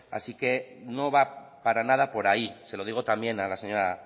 así que no va para nada por ahí se lo digo también a la señora